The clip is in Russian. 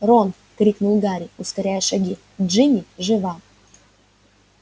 рон крикнул гарри ускоряя шаги джинни жива